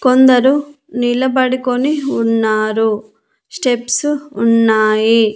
కొందరు నిలబడుకొని ఉన్నారు స్టెప్స్ ఉన్నాయి.